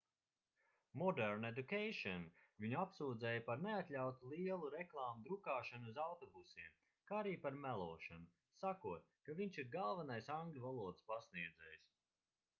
modern education viņu apsūdzēja par neatļautu lielu reklāmu drukāšanu uz autobusiem kā arī par melošanu sakot ka viņš ir galvenais angļu valodas pasniedzējs